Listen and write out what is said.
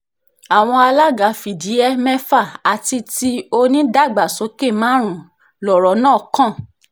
àwọn alága fìdí-he mẹ́fà àti ti onídàgbàsókè márùn-ún lọ̀rọ̀ náà kàn